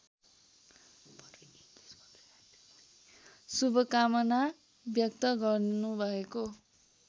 शुभकामना व्यक्त गर्नुभएको